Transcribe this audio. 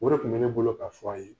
O de tun be ne bolo k'a fɔ a' ye.